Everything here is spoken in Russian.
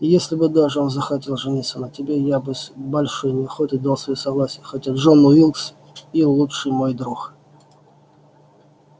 и если бы даже он захотел жениться на тебе я бы с большой неохотой дал своё согласие хотя джон уилкс и лучший мой друг